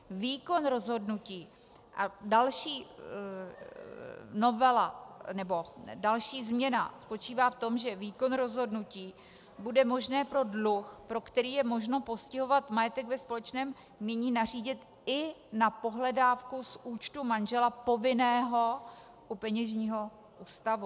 Výkon rozhodnutí a další novela, nebo další změna spočívá v tom, že výkon rozhodnutí bude možné pro dluh, pro který je možno postihovat majetek ve společném jmění, nařídit i na pohledávku z účtu manžela povinného u peněžního ústavu.